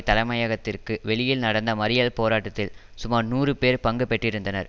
தலைமையகத்திற்கு வெளியில் நடந்த மறியல் போராட்டத்தில் சுமார் நூறு பேர் பங்குபெற்றிருந்தனர்